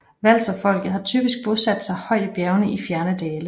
Walserfolket har typisk bosat sig højt i bjergene i fjerne dale